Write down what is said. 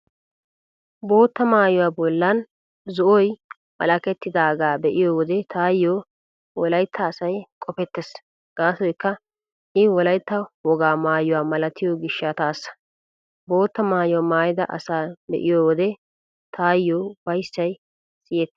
Bootta maayuwaa bollan zo'oy wolakettidaagaa be'iyo wode taayyo wolaytta asay qopettees gaasoykka I wolaytta wogaa maayuwaa malatiyo gishshataassa. Bootta maayuwaa maayida asaa be'iyo wode taayyo ufayssay siyettees.